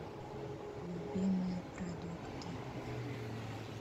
любимые продукты